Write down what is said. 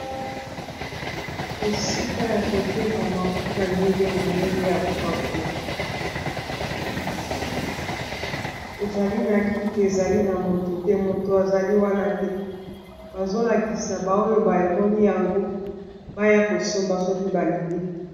Esika ya koteka mafuta ndenge na ndenge ya kopakola. Ezali na kiti, ezali na moto te ; moto azali wana te. Bazo lakisa ba oyo bamoni yango, baya kosomba soki balingi.